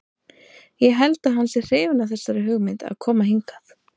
Ég held að hann sé hrifinn af þessari hugmynd að koma hingað.